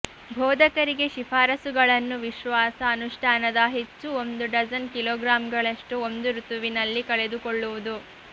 ಬೋಧಕರಿಗೆ ಶಿಫಾರಸುಗಳನ್ನು ವಿಶ್ವಾಸ ಅನುಷ್ಠಾನದ ಹೆಚ್ಚು ಒಂದು ಡಜನ್ ಕಿಲೋಗ್ರಾಂಗಳಷ್ಟು ಒಂದು ಋತುವಿನಲ್ಲಿ ಕಳೆದುಕೊಳ್ಳುವುದು